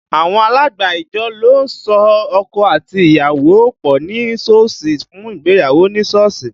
Àwọn alàgbà ìjọ ló ń so ọkọ àti ìyàwó pọ ní Sọ́ọ̀sì fún ìgbéyàwó ní Sọ́ọ̀sì